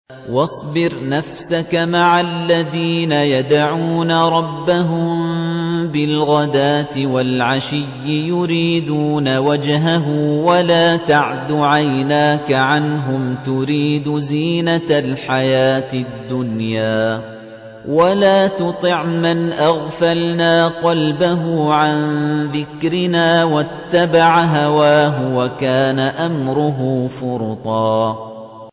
وَاصْبِرْ نَفْسَكَ مَعَ الَّذِينَ يَدْعُونَ رَبَّهُم بِالْغَدَاةِ وَالْعَشِيِّ يُرِيدُونَ وَجْهَهُ ۖ وَلَا تَعْدُ عَيْنَاكَ عَنْهُمْ تُرِيدُ زِينَةَ الْحَيَاةِ الدُّنْيَا ۖ وَلَا تُطِعْ مَنْ أَغْفَلْنَا قَلْبَهُ عَن ذِكْرِنَا وَاتَّبَعَ هَوَاهُ وَكَانَ أَمْرُهُ فُرُطًا